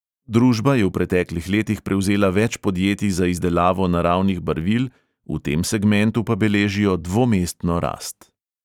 Družba je v preteklih letih prevzela več podjetij za izdelavo naravnih barvil, v tem segmentu pa beležijo dvomestno rast.